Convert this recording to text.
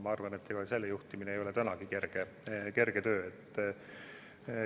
Ma arvan, et selle juhtimine ei ole tänagi kerge töö.